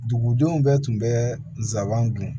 Dugudenw bɛɛ tun bɛ nsaban dun